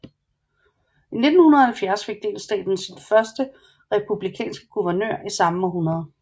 I 1970 fik delstaten sin første republikanske guvernør i samme århundrede